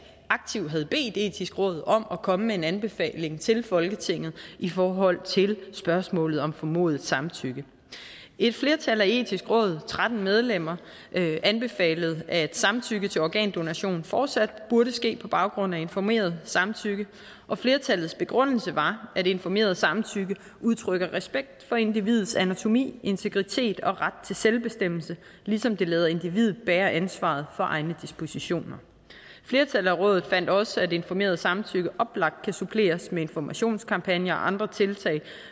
aktivt havde bedt det etiske råd om at komme med en anbefaling til folketinget i forhold til spørgsmålet om formodet samtykke et flertal i det etiske råd tretten medlemmer anbefalede at samtykke til organdonation fortsat burde ske på baggrund af informeret samtykke og flertallets begrundelse var at informeret samtykke udtrykker respekt for individets anatomi integritet og ret til selvbestemmelse ligesom det lader individet bære ansvaret for egne dispositioner flertallet i rådet fandt også at informeret samtykke oplagt kan suppleres med informationskampagner og andre tiltag